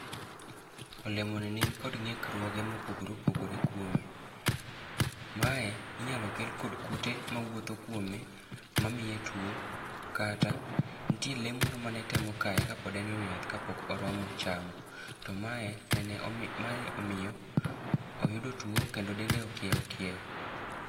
Olemoni nikod ngíkruoge mopogore opogore kuome. Mae inyalo kel kod kute mawuotho kuome, mamiye twoo, kata, nitie lee moro mane temo kae ka pod en e wi yath, ka pok oromo chamo. To mae nene, mae omiyo oyudo two, kendo dende okieo kieo.